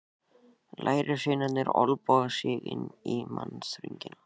Lærisveinarnir olnboga sig inn í mannþröngina.